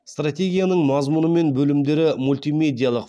стратегияның мазмұны мен бөлімдері мультимедиялық